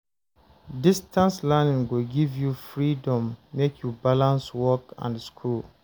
Distance learning go give you freedom make you balance work and school.